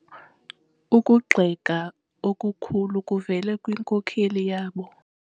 Ukugxeka okukhulu kuvele kwinkokeli yabo.